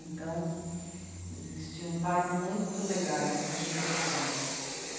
Então, existiam pais muito legais, muito interessantes.